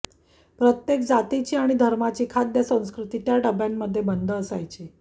प्रत्येक जातीची आणि धर्माची खाद्यसंस्कृती त्या डब्ब्यांमध्ये बंद असायची